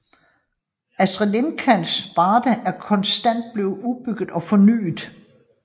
Astrids Lindgrens Värld er konstant blevet udbygget og fornyet